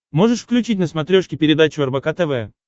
можешь включить на смотрешке передачу рбк тв